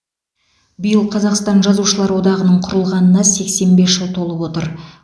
биыл қазақстан жазушылар одағының құрылғанына сексен бес жыл толып отыр